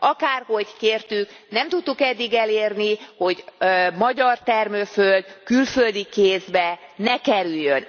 Akárhogy kértük, nem tudtuk eddig elérni, hogy magyar termőföld külföldi kézbe ne kerüljön.